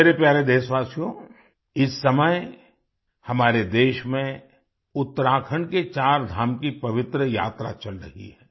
मेरे प्यारे देशवासियो इस समय हमारे देश में उत्तराखण्ड के चारधाम की पवित्र यात्रा चल रही है